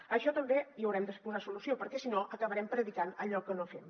a això també hi haurem de posar solució perquè si no acabarem predicant allò que no fem